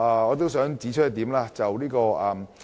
我還想指出另一點。